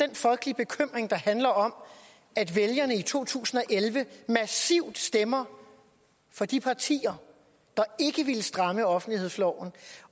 den folkelige bekymring der handler om at vælgerne i to tusind og elleve massivt stemte for de partier der ikke ville stramme offentlighedsloven